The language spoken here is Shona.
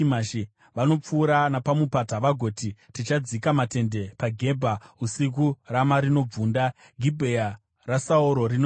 Vanopfuura napamupata, vagoti, “Tichadzika matende paGebha usiku.” Rama rinobvunda; Gibhea raSauro rinotiza.